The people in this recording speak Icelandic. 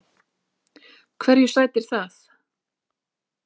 Hverju sætir það?